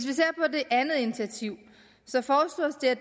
det andet initiativ